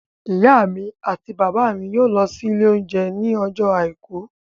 Ìyá mi àti bàbá mi yóò lọ sí ilé oúnjẹ ní ọjọ́ àìkú